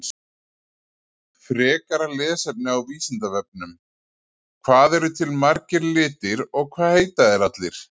Frekara lesefni á Vísindavefnum: Hvað eru til margir litir og hvað heita þeir allir?